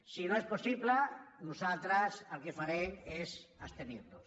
si no és possible nosaltres el que farem és abstenirnos